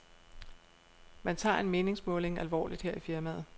Man tager en meningsmåling alvorligt her i firmaet.